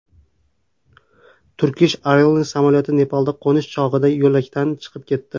Turkish Airlines samolyoti Nepalda qo‘nish chog‘ida yo‘lakdan chiqib ketdi.